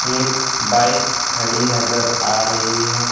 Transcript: एक बाइक खड़ी नजर आ रही है।